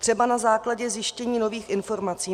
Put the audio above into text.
Třeba na základě zjištění nových informací.